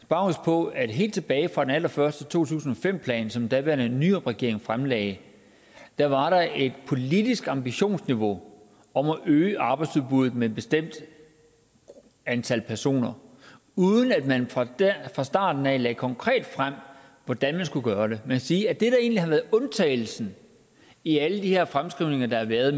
bare huske på at helt tilbage fra den allerførste to tusind og fem plan som den daværende nyrupregering fremlagde var der et politisk ambitionsniveau om at øge arbejdsudbuddet med et bestemt antal personer uden at man fra starten lagde lagde konkret frem hvordan man skulle gøre det kan sige at det der egentlig har været undtagelsen i alle de her mellemfristede fremskrivninger der har været